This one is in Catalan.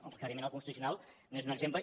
el requeriment al constitucional n’és un exemple